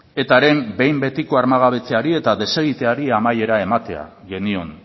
etaren behin betiko armagabetzeari eta desegiteari amaiera ematea genion